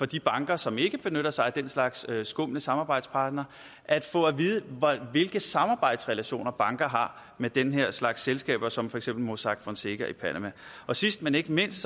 de banker som ikke benytter sig af den slags skumle samarbejdspartnere at få at vide hvilke samarbejdsrelationer banker har med den her slags selskaber som for eksempel mossack fonseca i panama sidst men ikke mindst